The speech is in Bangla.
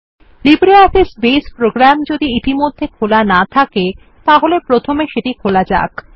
লিব্রিঅফিস বেস প্রোগ্রাম যদি ইতিমধ্যে খোলা না থাকে তাহলে প্রথমে সেটি খোলা যাক